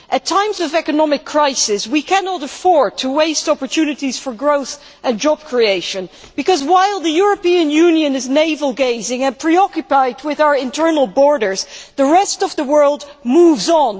At times of economic crisis, we cannot afford to waste opportunities for growth and job creation because, while the European Union is navel gazing and preoccupied with our internal borders, the rest of the world moves on.